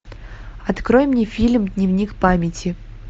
открой мне фильм дневник памяти